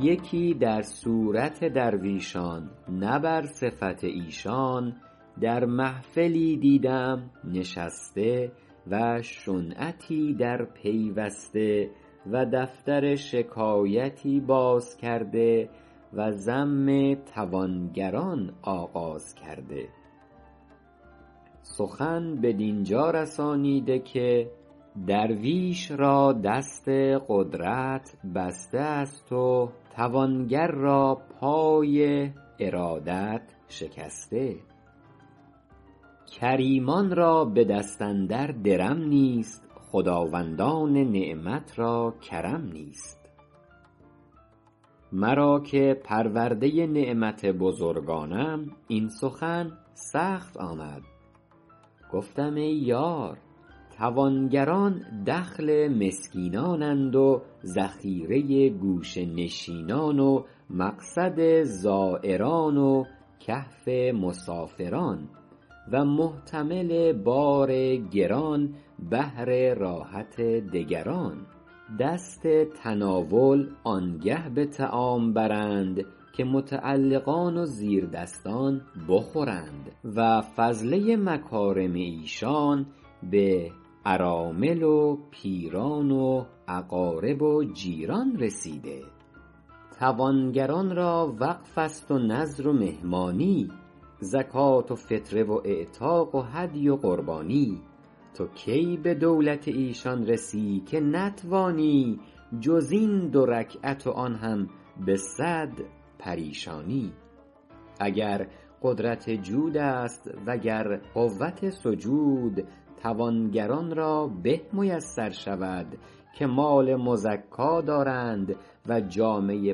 یکی در صورت درویشان نه بر صفت ایشان در محفلی دیدم نشسته و شنعتی در پیوسته و دفتر شکایتی باز کرده و ذم توانگران آغاز کرده سخن بدین جا رسانیده که درویش را دست قدرت بسته است و توانگر را پای ارادت شکسته کریمان را به دست اندر درم نیست خداوندان نعمت را کرم نیست مرا که پرورده نعمت بزرگانم این سخن سخت آمد گفتم ای یار توانگران دخل مسکینان اند و ذخیره گوشه نشینان و مقصد زایران و کهف مسافران و محتمل بار گران بهر راحت دگران دست تناول آنگه به طعام برند که متعلقان و زیردستان بخورند و فضله مکارم ایشان به ارامل و پیران و اقارب و جیران رسیده توانگران را وقف است و نذر و مهمانی زکات و فطره و اعتاق و هدی و قربانی تو کی به دولت ایشان رسی که نتوانی جز این دو رکعت و آن هم به صد پریشانی اگر قدرت جود است و گر قوت سجود توانگران را به میسر شود که مال مزکا دارند و جامه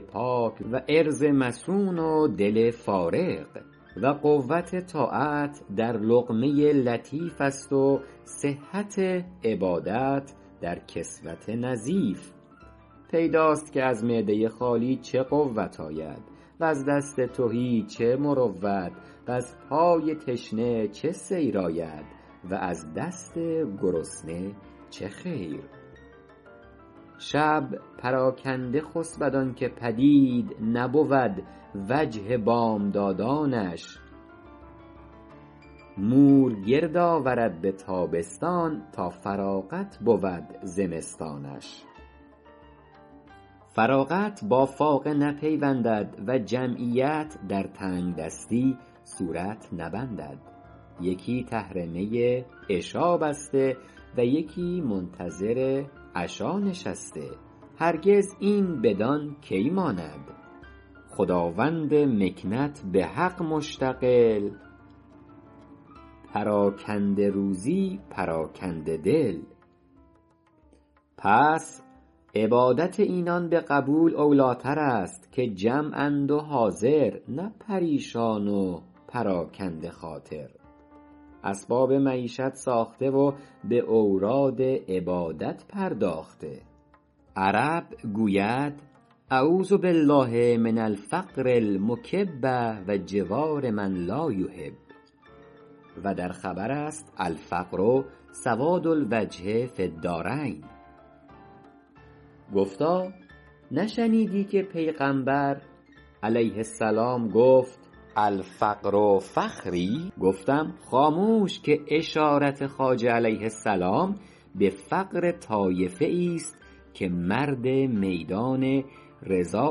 پاک و عرض مصون و دل فارغ و قوت طاعت در لقمه لطیف است و صحت عبادت در کسوت نظیف پیداست که از معده خالی چه قوت آید وز دست تهی چه مروت وز پای تشنه چه سیر آید و از دست گرسنه چه خیر شب پراکنده خسبد آن که پدید نبود وجه بامدادانش مور گرد آورد به تابستان تا فراغت بود زمستانش فراغت با فاقه نپیوندد و جمعیت در تنگ دستی صورت نبندد یکی تحرمه عشا بسته و یکی منتظر عشا نشسته هرگز این بدان کی ماند خداوند مکنت به حق مشتغل پراکنده روزی پراکنده دل پس عبادت اینان به قبول اولی تر است که جمع اند و حاضر نه پریشان و پراکنده خاطر اسباب معیشت ساخته و به اوراد عبادت پرداخته عرب گوید أعوذ بالله من الفقر المکب و جوار من لا احب و در خبر است الفقر سواد الوجه فی الدارین گفتا نشنیدی که پیغمبر علیه السلام گفت الفقر فخری گفتم خاموش که اشارت خواجه علیه السلام به فقر طایفه ای ست که مرد میدان رضای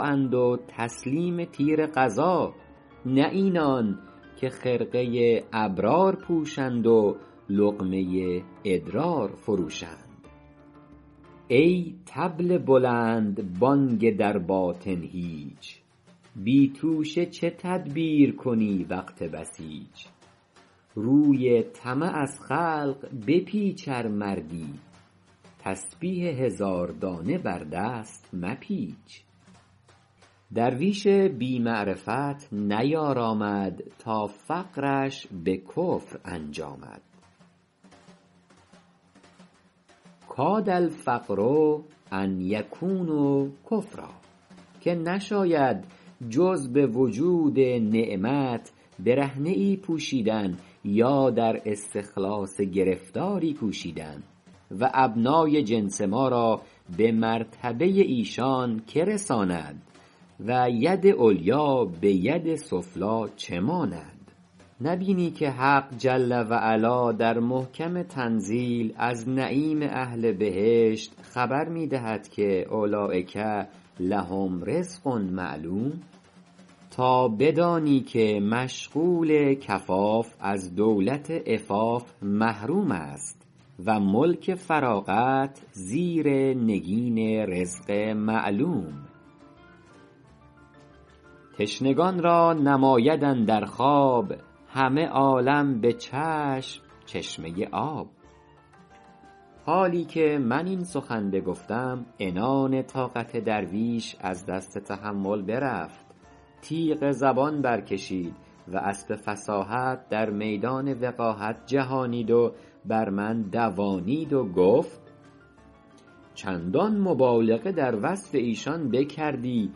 اند و تسلیم تیر قضا نه اینان که خرقه ی ابرار پوشند و لقمه ی ادرار فروشند ای طبل بلندبانگ در باطن هیچ بی توشه چه تدبیر کنی وقت بسیچ روی طمع از خلق بپیچ ار مردی تسبیح هزار دانه بر دست مپیچ درویش بی معرفت نیارامد تا فقرش به کفر انجامد کاد الفقر أن یکون کفرا که نشاید جز به وجود نعمت برهنه ای پوشیدن یا در استخلاص گرفتاری کوشیدن و ابنای جنس ما را به مرتبه ایشان که رساند و ید علیا به ید سفلی چه ماند نبینی که حق جل و علا در محکم تنزیل از نعیم اهل بهشت خبر می دهد که اولیک لهم رزق معلوم تا بدانی که مشغول کفاف از دولت عفاف محروم است و ملک فراغت زیر نگین رزق معلوم تشنگان را نماید اندر خواب همه عالم به چشم چشمه آب حالی که من این سخن بگفتم عنان طاقت درویش از دست تحمل برفت تیغ زبان برکشید و اسب فصاحت در میدان وقاحت جهانید و بر من دوانید و گفت چندان مبالغه در وصف ایشان بکردی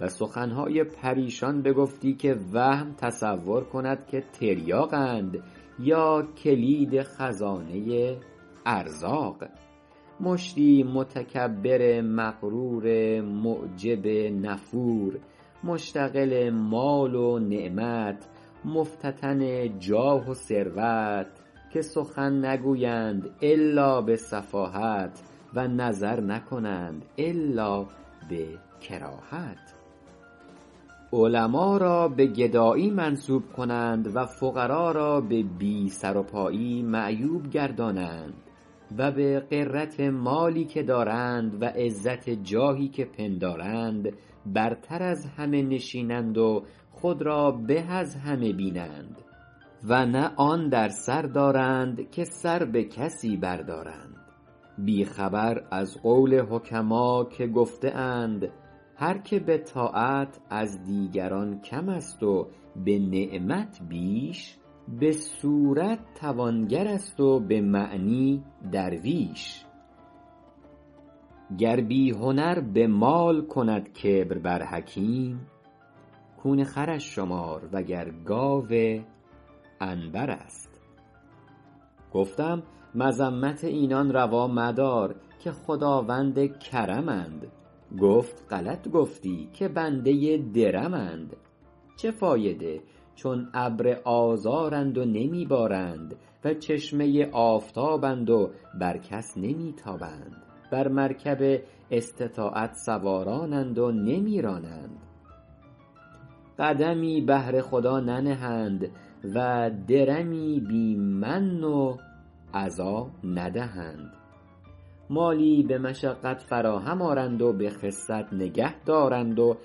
و سخن های پریشان بگفتی که وهم تصور کند که تریاق اند یا کلید خزانه ارزاق مشتی متکبر مغرور معجب نفور مشتغل مال و نعمت مفتتن جاه و ثروت که سخن نگویند إلا به سفاهت و نظر نکنند إلا به کراهت علما را به گدایی منسوب کنند و فقرا را به بی سر و پایی معیوب گردانند و به عزت مالی که دارند و عزت جاهی که پندارند برتر از همه نشینند و خود را به از همه بینند و نه آن در سر دارند که سر به کسی بر دارند بی خبر از قول حکما که گفته اند هر که به طاعت از دیگران کم است و به نعمت بیش به صورت توانگر است و به معنی درویش گر بی هنر به مال کند کبر بر حکیم کون خرش شمار وگر گاو عنبر است گفتم مذمت اینان روا مدار که خداوند کرم اند گفت غلط گفتی که بنده درم اند چه فایده چون ابر آذارند و نمی بارند و چشمه آفتاب اند و بر کس نمی تابند بر مرکب استطاعت سواران اند و نمی رانند قدمی بهر خدا ننهند و درمی بی من و أذی ندهند مالی به مشقت فراهم آرند و به خست نگه دارند و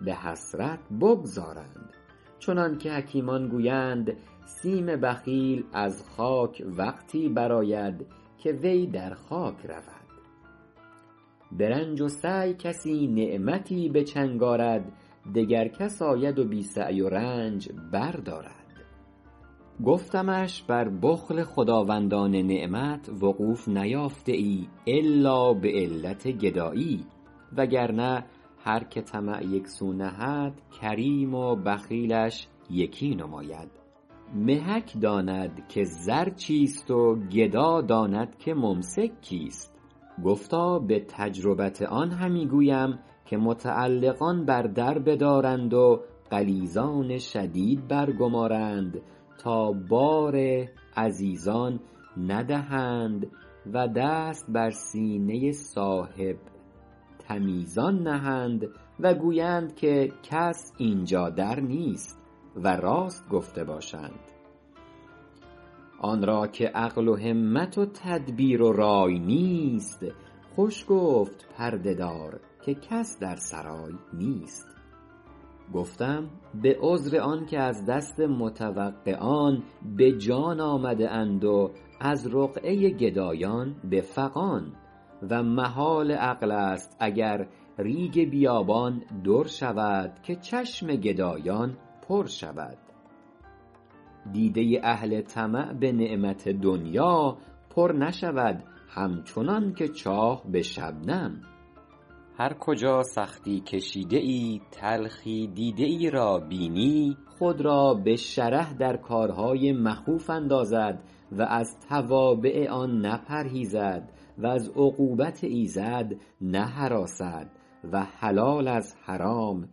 به حسرت بگذارند چنان که حکیمان گویند سیم بخیل از خاک وقتی برآید که وی در خاک رود به رنج و سعی کسی نعمتی به چنگ آرد دگر کس آید و بی سعی و رنج بردارد گفتمش بر بخل خداوندان نعمت وقوف نیافته ای إلا به علت گدایی وگرنه هرکه طمع یک سو نهد کریم و بخیلش یکی نماید محک داند که زر چیست و گدا داند که ممسک کیست گفتا به تجربت آن همی گویم که متعلقان بر در بدارند و غلیظان شدید برگمارند تا بار عزیزان ندهند و دست بر سینه صاحب تمیزان نهند و گویند کس اینجا در نیست و راست گفته باشند آن را که عقل و همت و تدبیر و رای نیست خوش گفت پرده دار که کس در سرای نیست گفتم به عذر آن که از دست متوقعان به جان آمده اند و از رقعه گدایان به فغان و محال عقل است اگر ریگ بیابان در شود که چشم گدایان پر شود دیده اهل طمع به نعمت دنیا پر نشود همچنان که چاه به شبنم هر کجا سختی کشیده ای تلخی دیده ای را بینی خود را به شره در کارهای مخوف اندازد و از توابع آن نپرهیزد و از عقوبت ایزد نهراسد و حلال از حرام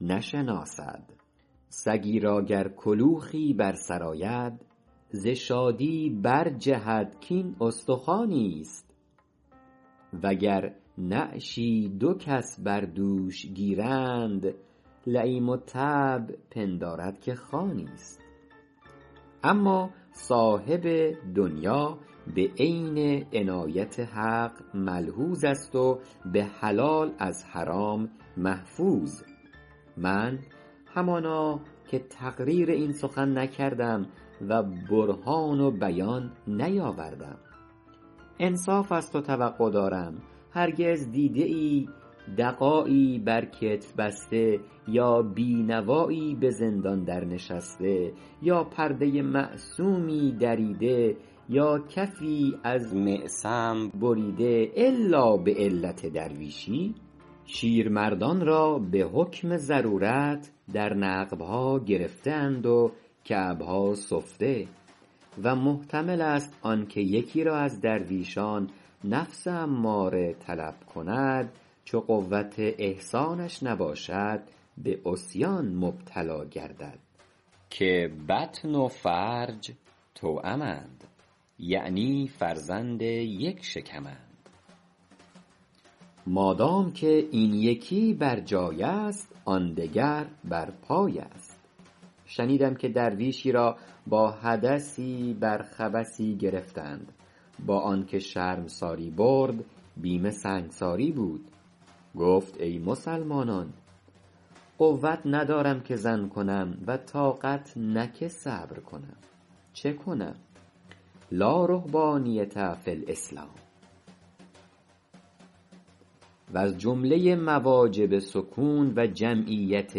نشناسد سگی را گر کلوخی بر سر آید ز شادی برجهد کاین استخوانی ست وگر نعشی دو کس بر دوش گیرند لییم الطبع پندارد که خوانی ست اما صاحب دنیا به عین عنایت حق ملحوظ است و به حلال از حرام محفوظ من همانا که تقریر این سخن نکردم و برهان بیان نیاوردم انصاف از تو توقع دارم هرگز دیده ای دست دعایی بر کتف بسته یا بی نوایی به زندان در نشسته یا پرده معصومی دریده یا کفی از معصم بریده إلا به علت درویشی شیرمردان را به حکم ضرورت در نقب ها گرفته اند و کعب ها سفته و محتمل است آن که یکی را از درویشان نفس اماره طلب کند چو قوت احصانش نباشد به عصیان مبتلا گردد که بطن و فرج توأمند یعنی فرزند یک شکم اند مادام که این یکی برجای است آن دگر بر پای است شنیدم که درویشی را با حدثی بر خبثی گرفتند با آن که شرمساری برد بیم سنگساری بود گفت ای مسلمانان قوت ندارم که زن کنم و طاقت نه که صبر کنم چه کنم لا رهبانیة فی الاسلام وز جمله مواجب سکون و جمعیت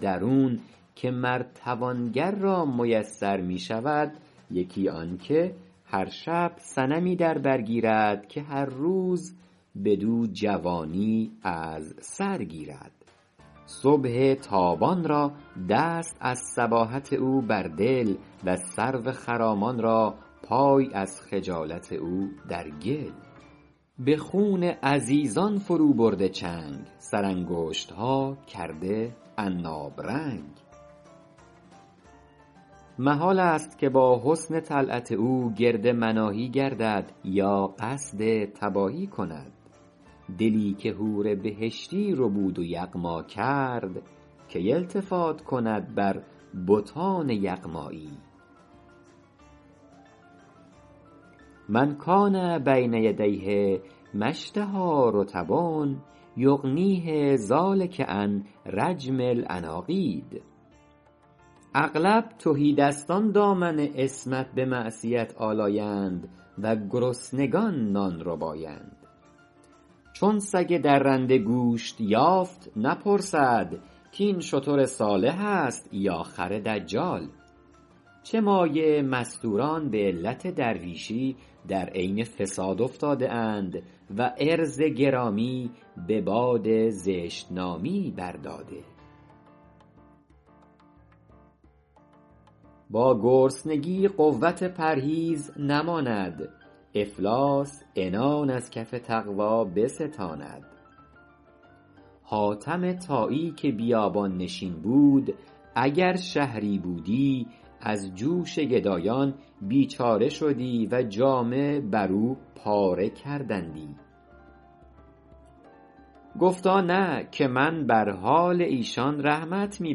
درون که مر توانگر را میسر می شود یکی آن که هر شب صنمی در بر گیرد که هر روز بدو جوانی از سر گیرد صبح تابان را دست از صباحت او بر دل و سرو خرامان را پای از خجالت او در گل به خون عزیزان فرو برده چنگ سر انگشت ها کرده عناب رنگ محال است که با حسن طلعت او گرد مناهی گردد یا قصد تباهی کند دلی که حور بهشتی ربود و یغما کرد کی التفات کند بر بتان یغمایی من کان بین یدیه ما اشتهیٰ رطب یغنیه ذٰلک عن رجم العناقید اغلب تهی دستان دامن عصمت به معصیت آلایند و گرسنگان نان ربایند چون سگ درنده گوشت یافت نپرسد کاین شتر صالح است یا خر دجال چه مایه مستوران به علت درویشی در عین فساد افتاده اند و عرض گرامی به باد زشت نامی بر داده با گرسنگی قوت پرهیز نماند افلاس عنان از کف تقوی بستاند حاتم طایی که بیابان نشین بود اگر شهری بودی از جوش گدایان بیچاره شدی و جامه بر او پاره کردندی گفتا نه که من بر حال ایشان رحمت می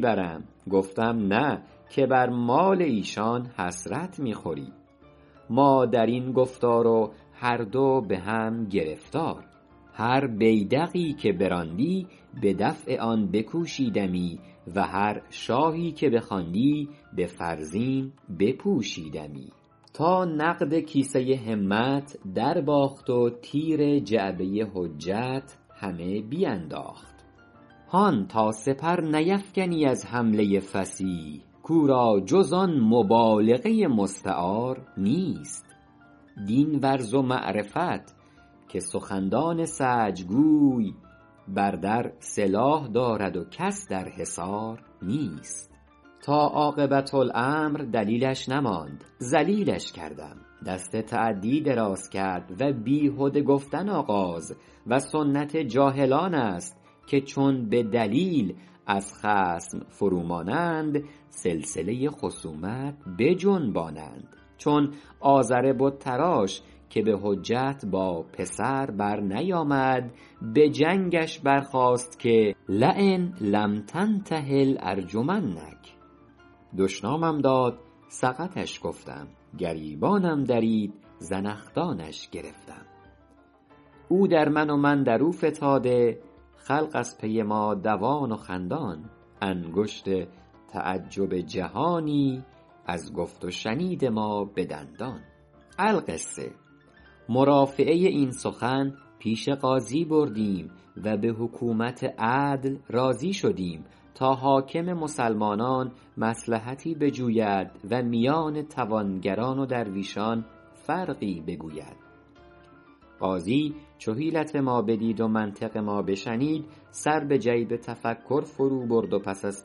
برم گفتم نه که بر مال ایشان حسرت می خوری ما در این گفتار و هر دو به هم گرفتار هر بیدقی که براندی به دفع آن بکوشیدمی و هر شاهی که بخواندی به فرزین بپوشیدمی تا نقد کیسه همت درباخت و تیر جعبه حجت همه بینداخت هان تا سپر نیفکنی از حمله فصیح کاو را جز آن مبالغه مستعار نیست دین ورز و معرفت که سخندان سجع گوی بر در سلاح دارد و کس در حصار نیست تا عاقبت الامر دلیلش نماند ذلیلش کردم دست تعدی دراز کرد و بیهده گفتن آغاز و سنت جاهلان است که چون به دلیل از خصم فرو مانند سلسله خصومت بجنبانند چون آزر بت تراش که به حجت با پسر برنیامد به جنگش برخاست که لین لم تنته لارجمنک دشنامم داد سقطش گفتم گریبانم درید زنخدانش گرفتم او در من و من در او فتاده خلق از پی ما دوان و خندان انگشت تعجب جهانی از گفت و شنید ما به دندان القصه مرافعه این سخن پیش قاضی بردیم و به حکومت عدل راضی شدیم تا حاکم مسلمانان مصلحتی بجوید و میان توانگران و درویشان فرقی بگوید قاضی چو حیلت ما بدید و منطق ما بشنید سر به جیب تفکر فرو برد و پس از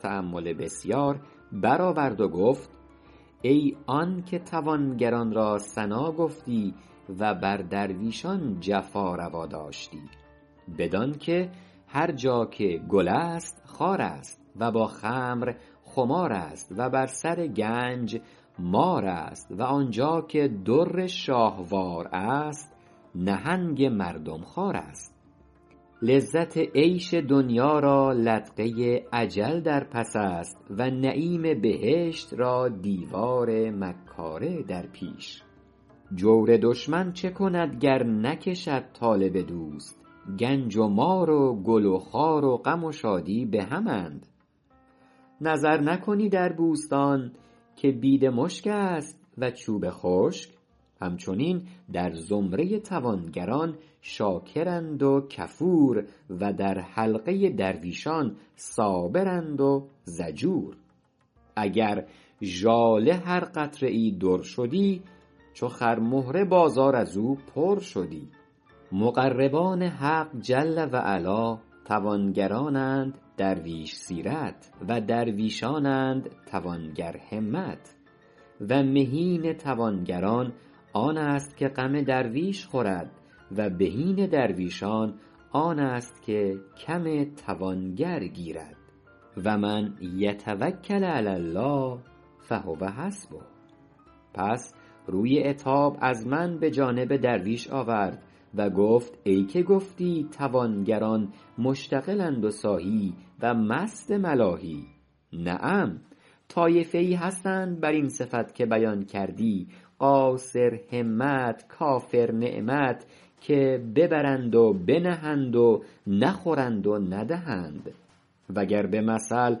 تأمل بسیار برآورد و گفت ای آن که توانگران را ثنا گفتی و بر درویشان جفا روا داشتی بدان که هر جا که گل است خار است و با خمر خمار است و بر سر گنج مار است و آنجا که در شاهوار است نهنگ مردم خوار است لذت عیش دنیا را لدغه اجل در پس است و نعیم بهشت را دیوار مکاره در پیش جور دشمن چه کند گر نکشد طالب دوست گنج و مار و گل و خار و غم و شادی به هم اند نظر نکنی در بوستان که بیدمشک است و چوب خشک همچنین در زمره توانگران شاکرند و کفور و در حلقه درویشان صابرند و ضجور اگر ژاله هر قطره ای در شدی چو خرمهره بازار از او پر شدی مقربان حق جل و علا توانگران اند درویش سیرت و درویشان اند توانگرهمت و مهین توانگران آن است که غم درویش خورد و بهین درویشان آن است که کم توانگر گیرد و من یتوکل علی الله فهو حسبه پس روی عتاب از من به جانب درویش آورد و گفت ای که گفتی توانگران مشتغل اند و ساهی و مست ملاهی نعم طایفه ای هستند بر این صفت که بیان کردی قاصرهمت کافرنعمت که ببرند و بنهند و نخورند و ندهند وگر به مثل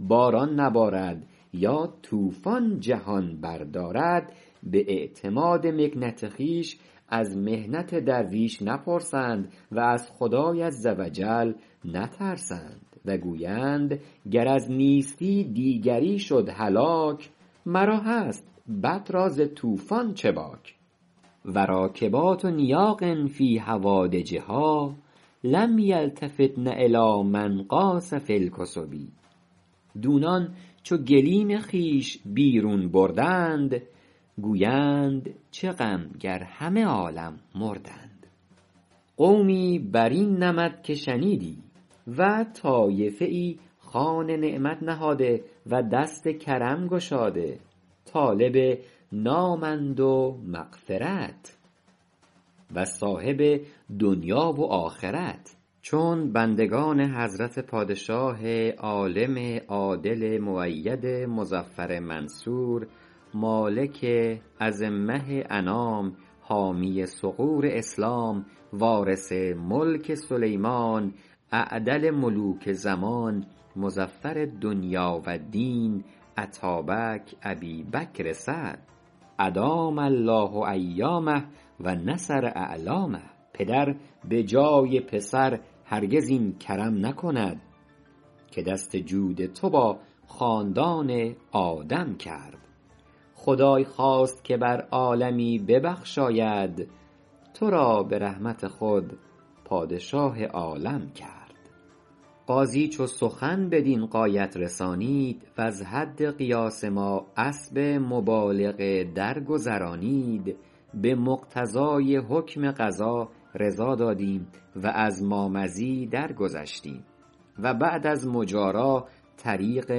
باران نبارد یا طوفان جهان بردارد به اعتماد مکنت خویش از محنت درویش نپرسند و از خدای عزوجل نترسند و گویند گر از نیستی دیگری شد هلاک مرا هست بط را ز طوفان چه باک و راکبات نیاق فی هوادجها لم یلتفتن الی من غاص فی الکثب دونان چو گلیم خویش بیرون بردند گویند چه غم گر همه عالم مردند قومی بر این نمط که شنیدی و طایفه ای خوان نعمت نهاده و دست کرم گشاده طالب نام اند و معرفت و صاحب دنیا و آخرت چون بندگان حضرت پادشاه عالم عادل مؤید مظفر منصور مالک ازمه انام حامی ثغور اسلام وارث ملک سلیمان اعدل ملوک زمان مظفر الدنیا و الدین اتابک ابی بکر سعد ادام الله ایامه و نصر اعلامه پدر به جای پسر هرگز این کرم نکند که دست جود تو با خاندان آدم کرد خدای خواست که بر عالمی ببخشاید تو را به رحمت خود پادشاه عالم کرد قاضی چو سخن بدین غایت رسانید وز حد قیاس ما اسب مبالغه درگذرانید به مقتضای حکم قضا رضا دادیم و از مامضی درگذشتیم و بعد از مجارا طریق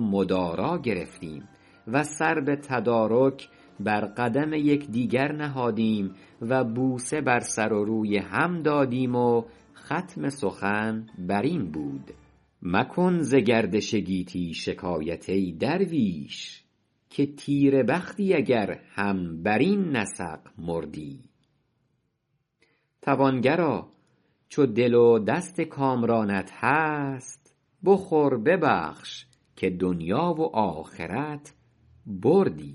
مدارا گرفتیم و سر به تدارک بر قدم یکدگر نهادیم و بوسه بر سر و روی هم دادیم و ختم سخن بر این بود مکن ز گردش گیتی شکایت ای درویش که تیره بختی اگر هم بر این نسق مردی توانگرا چو دل و دست کامرانت هست بخور ببخش که دنیا و آخرت بردی